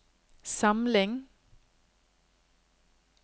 samling